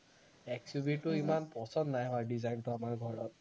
XUV টো ইমান পছন্দ নাই হোৱা design টো আমাৰ ঘৰত